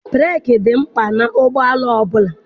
Breeki dị mkpa n'ụgbọala ọbụla.